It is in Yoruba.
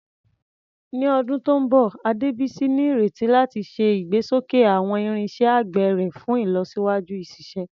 Ní ọdún tó ń bọ̀, Adebisi ní ìrètí láti ṣe ìgbésókè àwọn irinṣẹ́ àgbẹ̀ rẹ̀ fún ìlọsíwájú ìṣiṣẹ́.